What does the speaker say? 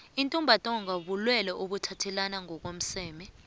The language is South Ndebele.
ivtumba ntonga bulelwe obuthathelana emsemeni